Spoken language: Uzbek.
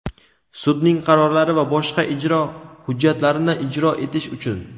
sudning qarorlari va boshqa ijro hujjatlarini ijro etish uchun;.